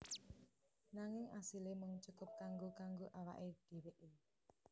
Nanging asile mung cukup kanggo kanggo awake dheweke